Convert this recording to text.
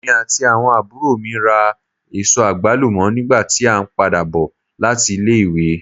Èmí ati awọn àbúrò mi rá èsó agbalumo nígbà ti a n pàdà bò láti ilé ìwé.